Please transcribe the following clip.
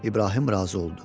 İbrahim razı oldu.